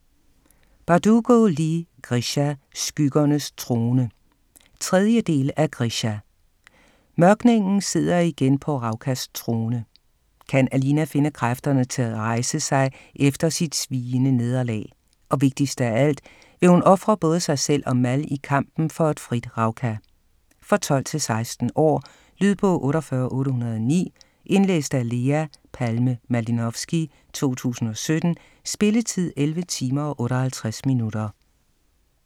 Bardugo, Leigh: Grisha - skyggernes trone 3. del af Grisha. Mørkningen sidder igen på Ravkas trone. Kan Alina finde kræfterne til rejse sig efter sit sviende nederlag? Og vigtigst af alt: Vil hun ofre både sig selv og Mal i kampen for et frit Ravka? For 12-16 år. Lydbog 48809 Indlæst af Lea Palme Malinovsky, 2017. Spilletid: 11 timer, 58 minutter.